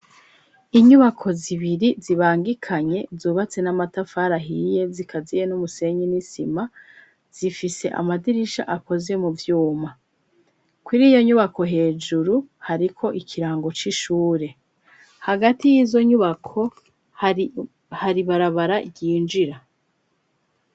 Inyubako zibiri zibangikanye zubatse n'amatafar ahiye zikaziye n'umusenyin'isima zifise amadirisha akoze mu vyuma kuri iyo nyubako hejuru hariko ikirango c'ishur,e hagati y'izo nyubako hari barabara yinjira.